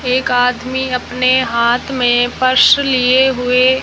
एक आदमी अपने हाथ में पर्स लिए हुए--